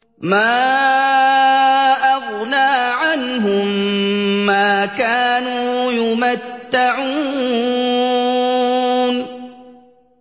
مَا أَغْنَىٰ عَنْهُم مَّا كَانُوا يُمَتَّعُونَ